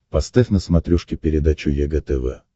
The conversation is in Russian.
поставь на смотрешке передачу егэ тв